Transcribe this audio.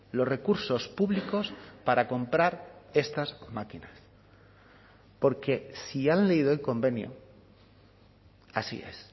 los recursos públicos para comprar estas máquinas porque si han leído el convenio así es